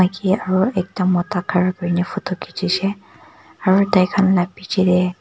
ye aro ekta mota khara kuri na photo khichishe aro tai khan la piche de--